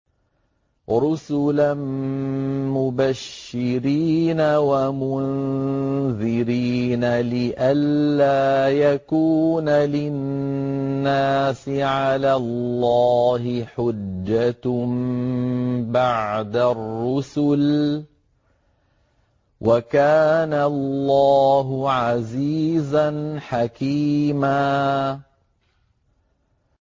رُّسُلًا مُّبَشِّرِينَ وَمُنذِرِينَ لِئَلَّا يَكُونَ لِلنَّاسِ عَلَى اللَّهِ حُجَّةٌ بَعْدَ الرُّسُلِ ۚ وَكَانَ اللَّهُ عَزِيزًا حَكِيمًا